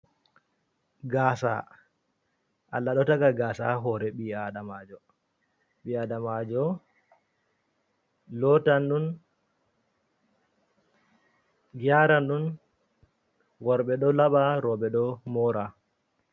Gasa Allah ɗo taga gasa ha hore ɓiadamajo, ɓiadamajo lotan ɗon yaranɗon, worbe ɗo laba roɓe ɗo mora.